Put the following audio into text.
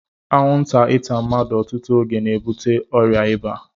Anwụnta ịta mmadụ ọtụtụ oge na-ebute ọrịa ịba